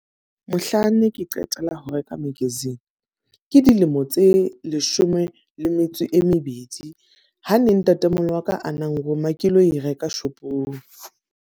Mohlanne ke qetela ho reka magazine, ke dilemo tse leshome le metso e mebedi. Ha ne ntatemoholo wa ka a nang roma ke lo e reka shopong.